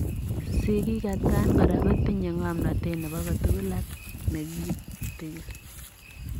sigik atakaan koraa kotinye ngomnotet nepo kotugul ak negitikin